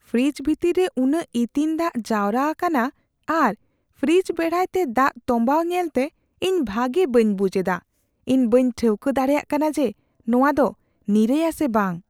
Fridge ᱵᱷᱤᱛᱤᱨ ᱨᱮ ᱩᱱᱟᱹᱜ ᱤᱛᱤᱧ ᱫᱟᱜ ᱡᱟᱣᱨᱟ ᱟᱠᱟᱱᱟ ᱟᱨ ᱯᱷᱨᱤᱡᱽ ᱵᱮᱲᱦᱟᱭᱛᱮ ᱫᱟᱜ ᱛᱚᱢᱵᱟᱣ ᱧᱮᱞᱛᱮ ᱤᱧ ᱵᱷᱟᱜᱮ ᱵᱟᱹᱧ ᱵᱩᱡᱷ ᱮᱫᱟ; ᱤᱧ ᱵᱟᱹᱧ ᱴᱷᱟᱹᱣᱠᱟᱹ ᱫᱟᱲᱮᱭᱟᱫ ᱠᱟᱱᱟ ᱡᱮ ᱱᱚᱶᱟ ᱫᱚ ᱱᱤᱨᱟᱹᱭᱼᱟ ᱥᱮ ᱵᱟᱝ ᱾